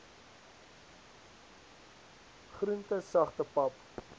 groente sagte pap